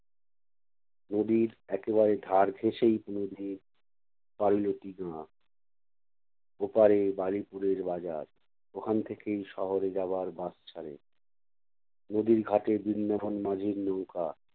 নদীর একেবারে ধার ঘেঁষেই তনুর ওপাড়ে বালিপুড়ের বাজার, ওখান থেকেই শহরে যাবার bus ছাড়ে নদীর ঘাটে বৃন্দাবন মাঝির নৌকা